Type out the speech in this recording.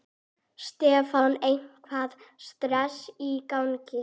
Stefán: Eitthvað stress í gangi?